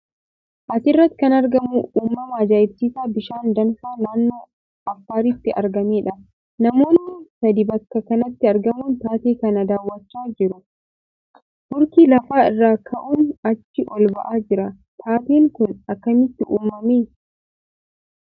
As irratti kan argamu uumama ajaa'ibsiisaa bishaan danfaa naannoo Affaaritti argamee dha. Namoonni sadii bakka kanatti argamuun taatee kana daawwachaa jiru. Hurki lafa irraa ka'uun achii ol ba'aa jira. Taateen kun akkamitti uumame?